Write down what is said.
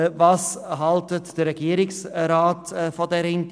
Was hält der Regierungsrat von dieser Idee?